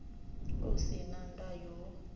u si na ndayo hu